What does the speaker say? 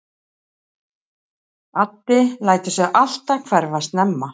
Addi lætur sig alltaf hverfa snemma.